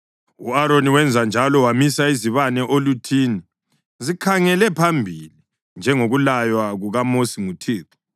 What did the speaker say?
U-Aroni wenza njalo; wamisa izibane oluthini zikhangele phambili, njengokulaywa kukaMosi nguThixo.